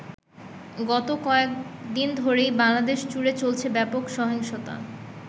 গত কয়েকদিন ধরেই বাংলাদেশ জুড়ে চলছে ব্যপক সহিংসতা।